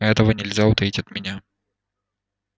этого нельзя утаить от меня